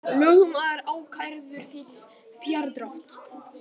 Lögmaður ákærður fyrir fjárdrátt